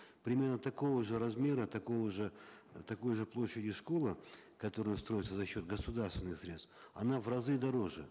примерно такого же размера такого же такой же площадью школа которая строится за счет государственных средств она в разы дороже